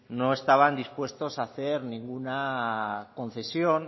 no estaban dispuesto a hacer ninguna concesión